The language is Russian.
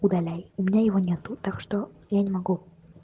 удаляй у меня его нету так что я не могу